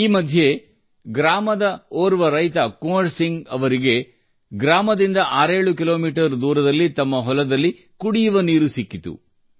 ಈ ಮಧ್ಯೆ ಗ್ರಾಮದ ಓರ್ವ ರೈತ ಕುವರ್ ಸಿಂಗ್ ಅವರಿಗೆ ಗ್ರಾಮದಿಂದ ಆರೇಳು ಕಿಲೋಮೀಟರ್ ದೂರದಲ್ಲಿ ತಮ್ಮ ಹೊಲದಲ್ಲಿ ಕುಡಿಯುವ ನೀರು ಸಿಕ್ಕಿತು